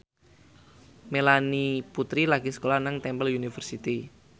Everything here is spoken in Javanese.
Melanie Putri lagi sekolah nang Temple University